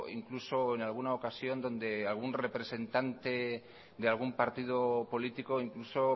incluso en alguna ocasión donde algún representante de algún partido político incluso